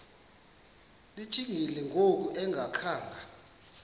lijikile ngoku engakhanga